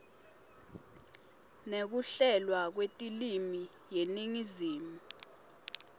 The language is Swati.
nekuhlelwa kwetilwimi yeningizimu